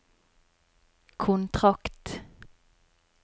kontrakt